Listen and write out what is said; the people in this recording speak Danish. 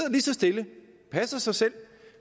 stille og passer sig selv og